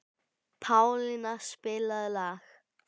Pálína, spilaðu lag.